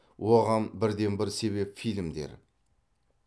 оған бірден бір себеп фильмдер